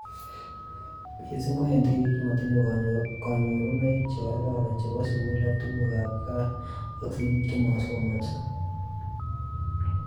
Mising' ko eng' tipik che matinye kanyorunoik che kororon chepo sukul ak tuguk ab kaa ak sikik che masomanso